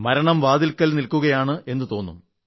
മരണം വാതിൽക്കൽ നിൽക്കുകയാണെന്ന് തോന്നും